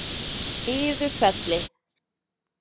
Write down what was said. Iðufelli